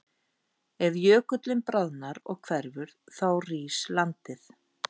Ef jökullinn bráðnar og hverfur þá rís landið.